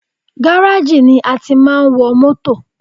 Gáràjì ni a tí máa ń wọ mótò.